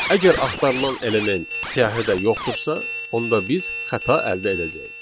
Əgər axtarılan element siyahıda yoxdursa, onda biz xəta əldə edəcəyik.